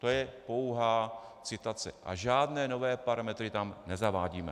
To je pouhá citace a žádné nové parametry tam nezavádíme.